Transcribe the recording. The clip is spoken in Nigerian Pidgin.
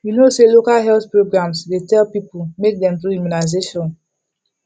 you know say local health programs dey tell people make dem do immunization